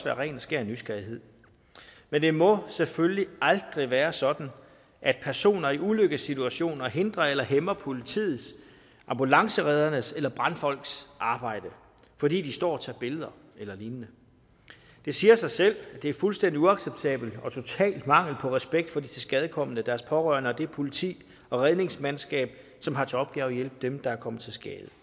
af ren og skær nysgerrighed men det må selvfølgelig aldrig være sådan at personer i ulykkessituationer hindrer eller hæmmer politiets ambulancereddernes eller brandfolks arbejde fordi de står og tager billeder eller lignende det siger sig selv at det er fuldstændig uacceptabelt og total mangel på respekt for de tilskadekomne deres pårørende og det politi og redningsmandskab som har til opgave at hjælpe dem der er kommet til skade